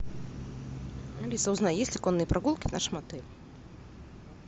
алиса узнай есть ли конные прогулки в нашем отеле